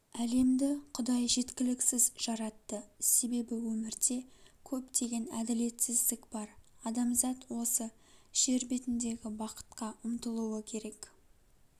әлемді құдай жеткіліксіз жаратты себебі өмірде көптеген әділетсіздік бар адамзат осы жер бетіндегі бакытқа ұмтылуы керек